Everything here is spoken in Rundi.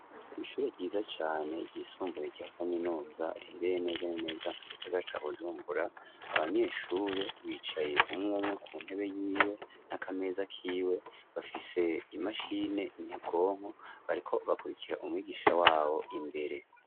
Ishure ryiza cane ryisumbuye rya kaminuza rihereye neza na neza mu gisagara ca Bujumbura abanyeshuri bicaye umwumwe ku ntebe yiwe n'akameza kiwe bafise imashini nyabwonko bariko bakurikira umwigisha wabo imbere.